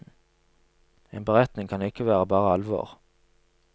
En beretning kan ikke være bare alvor.